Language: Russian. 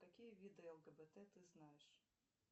какие виды лгбт ты знаешь